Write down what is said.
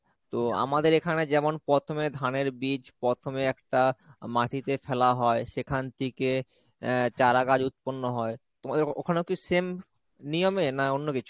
তো আমাদের এখানে যেমন প্রথমে ধানের বীজ, প্রথমে একটা মাটিতে ফেলা হয়, সেখান থেকে চারাগাছ উৎপন্ন হয়, তোমাদের ওখানেও কি same নিয়মে না অন্য কিছু?